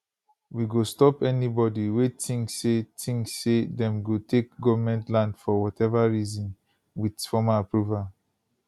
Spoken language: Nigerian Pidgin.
we go stop anybody wey tink say tink say dem go take goment land for whatever reason wit formal approval